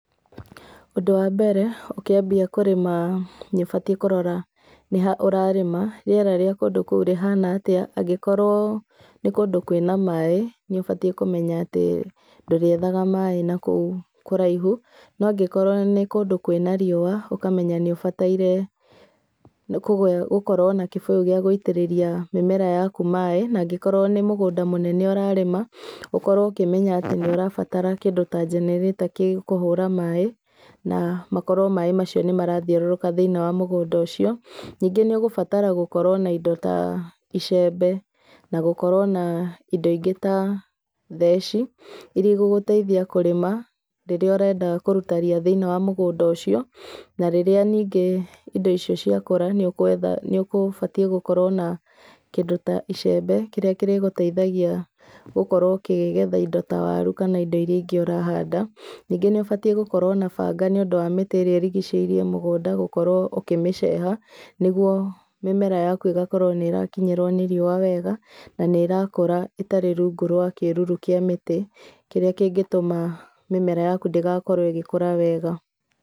Ũndũ wa mbere, ũkĩambia kũrĩma, nĩ ũbatĩe kũrora nĩha ũrarĩma, rĩera rĩa kũndũ kũũ rĩhana atĩa, angĩkorwo nĩ kũndũ kũĩna maĩ, nĩubatĩe kũmenya atĩ, ndũrĩethaga maĩ nakũũ kũraihu, no angĩkorwo nĩ kũndũ kũĩna riũa ũkamenya nĩũbataire gũkorwo na kĩbũyũ gĩa gũitĩrĩria mĩmera yaku maĩ na angĩkorwo nĩ mũgũnda mũnene ũrarĩma, ũkorwo ũkĩmenya atĩ nĩũrabatara kĩndũ ta generator gĩa kũhũra maĩ, na makorwo maĩ macio nĩmarathiũrũrũka thĩinĩ wa mũgũnda ũcio, ningĩ nĩũgũbatara gũkorwo na indo ta icembe, na gũkorwo na indo ingĩ ta theci, iria igũgũteithia kũrĩma rĩrĩa ũrenda kũruta ria thĩinĩe wa mũgũnda ũcio, na rĩrĩa ningĩ indo icio cĩakũra nĩũkũbatĩe gũkorwo na kĩndũ ta icembe kĩrĩa kĩrĩgũteithagia gũkorwo ũkĩgetha indo ta waru kana indo iria ingĩ ũrahanda ningĩ nĩ ũbatĩe gũkorwo na banga nĩũndũ wa mĩtĩ ĩrĩa ĩrigicĩirie mũgũnda gũkorwo ũkĩmĩceha nĩgũo mimera yaku ĩgakorwo nĩ ĩrakinyĩrwo nĩ riũa wega, na nĩ ĩrakũra ĩtarĩ rungu rwa kĩruru kia mĩtĩ, kĩrĩa kĩngĩtũma, mĩmera yaku ndĩgakorwo ĩgĩkũra wega.